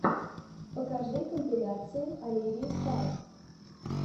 покажи компиляции оливии стар